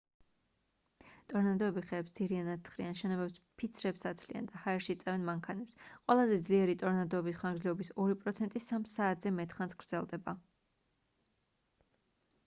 ტორნადოები ხეებს ძირიანად თხრიან შენობებს ფიცრებს აცლიან და ჰაერში წევენ მანქანებს ყველაზე ძლიერი ტორნადოების ხანგრძლივობის ორი პროცენტი სამ საათზე მეტხანს გრძელდება